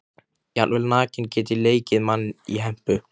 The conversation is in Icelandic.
Jafnvel nakinn get ég leikið mann í hempu.